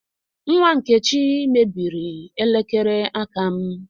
Nwa Nkechi mebiri elekere aka m